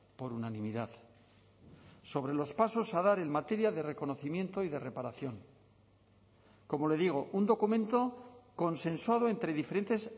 por unanimidad sobre los pasos a dar en materia de reconocimiento y de reparación como le digo un documento consensuado entre diferentes